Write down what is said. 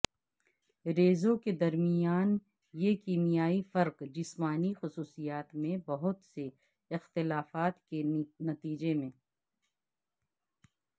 ریزوں کے درمیان یہ کیمیائی فرق جسمانی خصوصیات میں بہت سے اختلافات کے نتیجے میں